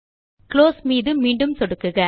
close மீது மீண்டும் சொடுக்குக